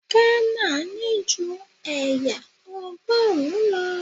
Ghana ní ju ẹ̀yà Ọgọ́rùn-ún lọ.